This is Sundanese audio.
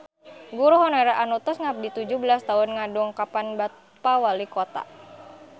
Guru honorer anu tos ngabdi tujuh belas tahun ngadongkapan Bapak Walikota